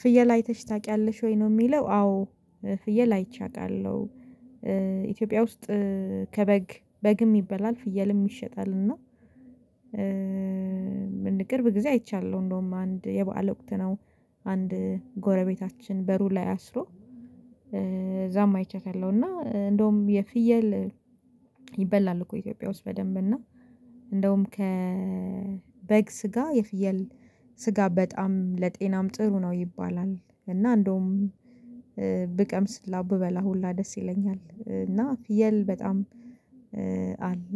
ፍየል አይተሽ ታውቂያለሽ ወይ ነው የሚለው? አዎ ፍየል አይቼ አውቃለሁ። ኢትዮጵያ ውስጥ ከበግ በግም ይበላል ፍየልም ይሸጣል እና ምን ቅርብ ጊዜ አይቻለሁ እንደውም አንድ የበአል ወቅት ነው። አንድ ጎረቤታችን በሩ ላይ አስሮ እዛም አይቻታለሁ። እና እንደውም የፍየል ይበላል እኮ ኢትዮጵያ ውስጥ በደንብ እና እንደውም ከበግ ስጋ የፍየል ስጋ በጣም ለጤናም ጥሩ ነው ይባላል። እና እንደውም ብቀምስ ሁላ ብበላ ሁላ ደስ ይለኛል። እና ፍየል በጣም አለ